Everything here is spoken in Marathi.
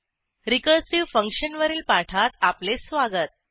रिकर्सिव्ह फंक्शन वरील पाठात आपले स्वागत